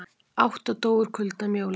Átta dóu úr kulda um jólin